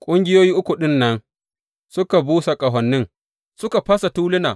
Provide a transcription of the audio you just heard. Ƙungiyoyi uku ɗin nan suka busa ƙahonin, suka fasa tuluna.